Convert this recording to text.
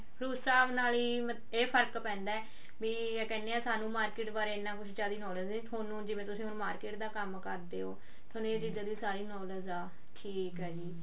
ਉਸ ਹਿਸਾਬ ਨਾਲ ਹੀ ਇਹ ਫਰਕ ਪੈਂਦਾ ਵੀ ਕਹਿਨੇ ਆ ਸਾਨੂੰ market ਬਾਰੇ ਇੰਨਾ ਕੁਛ ਜਾਦੀ knowledge ਹੈ ਥੋਨੂੰ ਜਿਵੇਂ ਹੁਣ ਤੁਸੀਂ market ਦਾ ਕੰਮ ਕਰਦੇ ਹੋ ਥੋਨੂੰ ਇਹ ਚੀਜ਼ਾਂ ਦੀ ਸਾਰੀ knowledge ਠੀਕ ਆ ਜੀ